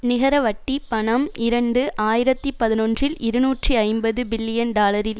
நிகர வட்டிப் பணம் இரண்டு ஆயிரத்தி பதினொன்றில் இருநூற்றி ஐம்பது பில்லியன் டாலரில்